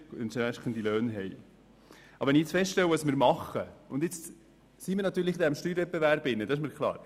Nun stehen wir in einem Steuerwettbewerb, das ist mir klar.